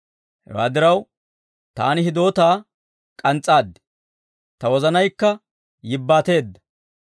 Hewaa diraw, taani hidootaa k'ans's'aad; ta wozanaykka yibbaateedda.